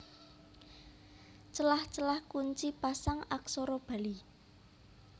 Celah celah Kunci Pasang Aksara Bali